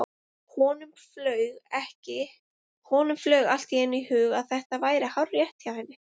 Honum flaug allt í einu í hug að þetta væri hárrétt hjá henni.